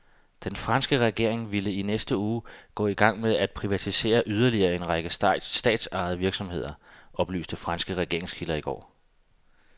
Den franske regering vil i næste uge gå i gang med at privatisere yderligere en række statsejede virksomheder, oplyste franske regeringskilder i går.